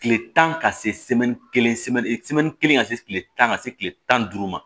Kile tan ka se kelen kelen ka se kile tan ka se kile tan ni duuru ma